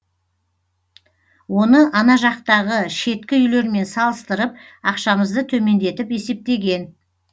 оны ана жақтағы шеткі үйлермен салыстарып ақшамызды төмендетіп есептеген